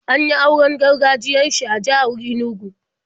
An yi auren gargajiyar shi a jihar Inugu.